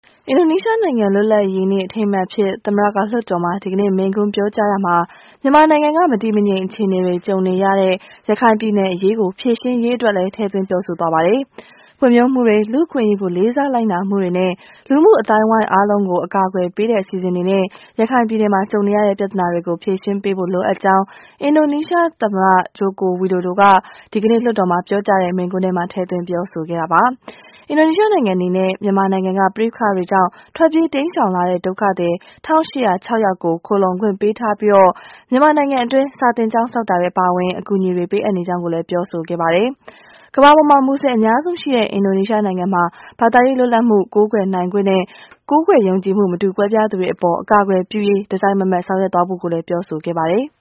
အင်ဒိုနီးရှားနိုင်ငံ လွတ်လပ်ရေးနေ့ အထိမ်းအမှတ်အဖြစ် သမ္မတက လွှတ်တော်မှာ ဒီကနေ့ မိန့်ခွန်းပြောကြားရာမှာ မြန်မာနိုင်ငံက မတည်မငြိမ် အခြေအနေတွေ ကြုံနေရတဲ့ ရခိုင်ပြည်နယ်အရေးကို ဖြေရှင်းရေးအတွက်လည်း ထည့်သွင်းပြောဆိုသွားပါတယ်။ ဖွံ့ဖြိုးမှုတွေ၊ လူ့အခွင့်အရေးကို လေးစားလိုက်နာမှုတွေနဲ့ လူမှုအသိုင်းအဝန်း အားလုံးကို အကာအကွယ်ပေးတဲ့ အစီအစဉ်တွေနဲ့ ရခိုင်ပြည်နယ်မှာ ကြုံနေရတဲ့ ပြဿနာတွေကို ဖြေရှင်းပေးဖို့ လိုအပ်ကြောင်း အင်ဒိုနီးရှားသမ္မတ Joko Widodo က ဒီကနေ့ လွှတ်တော်မှာ ပြောကြားတဲ့ မိန့်ခွန်းထဲမှာ ထည့်သွင်းပြောဆိုခဲ့တာပါ။ အင်ဒိုနီးရှားနိုင်ငံ အနေနဲ့ မြန်မာနိုင်ငံက ပဋိပက္ခတွေကြောင့် ထွက်ပြေးတိမ်းရှောင်လာတဲ့ ဒုက္ခသည် ၁၈၀၆ ယောက်ကို ခိုလှုံခွင့်ပေးထားပီး မြန်မာနိုင်ငံအတွင်း စာသင်ကျောင်းဆောက်တာတွေ အပါအဝင် အကူအညီတွေပေးအပ်နေကြောင်းလည်း ပြောဆိုခဲ့ပါတယ်။ ကမ္ဘာပေါ်မှာ မူဆလင်အများဆုံးရှိရာ အင်ဒိုနီးရှားနိုင်ငံမှာ ဘာသာရေး လွတ်လပ်စွာကိုးကွယ်နိုင်ခွင့်နဲ့ ကိုးကွယ်ယုံကြည်မှု မတူကွဲပြားသူတွေအပေါ် အကာအကွယ်ပြုရေး တစိုက်မတ်မတ်ဆောင်ရွက်သွားဖို့လည်း ပြောဆိုခဲ့ပါတယ်။